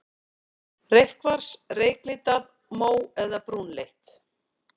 Reykkvars, reyklitað, mó- eða brúnleitt.